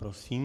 Prosím.